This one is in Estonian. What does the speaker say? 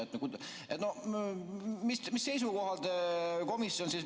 Mis seisukohal te komisjon siis?